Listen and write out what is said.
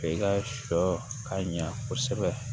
I ka sɔ ka ɲa kosɛbɛ